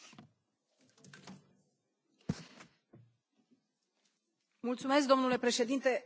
Domnule președinte, doamna comisar, sigur, sunt de acord cu raportul și felicit colegii care au lucrat.